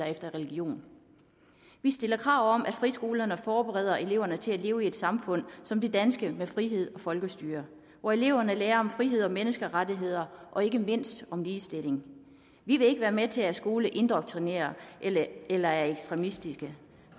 efter religion vi stiller krav om at friskolerne forbereder eleverne til at leve i et samfund som det danske med frihed og folkestyre og at eleverne lærer om frihed og menneskerettigheder og ikke mindst om ligestilling vi vil ikke være med til at skoler indoktrinerer eller er ekstremistiske